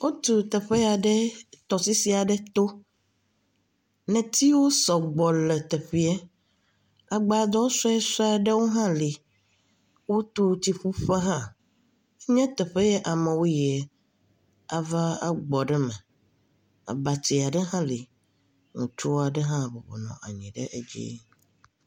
Wotu teƒe ya ɖe tɔsisi aɖe to. Netiwo sɔgbɔ ɖe teƒeɛ. Agbadɔ suɛsuɛ ewo hã le. Wotu tsiƒuƒe hã. Enye teƒe yɛ amewo yiɛ aa agbɔ ɖe me. abatiɛ ɖe hã le. Ŋutsu aɖe hã bɔbɔ nɔ anyi ɖe edzi.